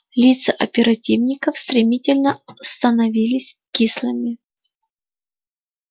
лица оперативников стремительно становились кислыми